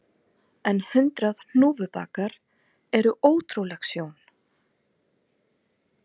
En hundrað hnúfubakar eru ótrúleg sjón